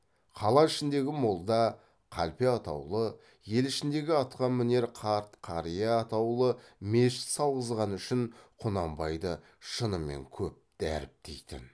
қала ішіндегі молда қалпе атаулы ел ішіндегі атқамінер қарт қария атаулы мешіт салғызғаны үшін құнанбайды шынымен көп дәріптейтін